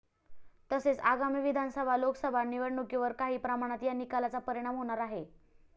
तसेच आगामी विधानसभा, लोकसभा निवडणुकीवर काही प्रमाणात या निकालाचा परिणाम होणार आहे.